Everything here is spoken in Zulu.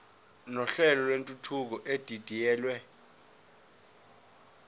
nohlelo lwentuthuko edidiyelwe